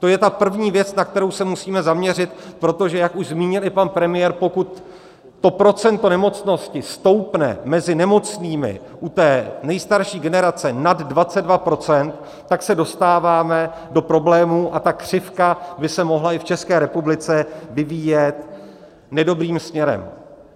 To je ta první věc, na kterou se musíme zaměřit, protože jak už zmínil i pan premiér, pokud to procento nemocnosti stoupne mezi nemocnými u té nejstarší generace nad 22 %, tak se dostáváme do problémů a ta křivka by se mohla i v České republice vyvíjet nedobrým směrem.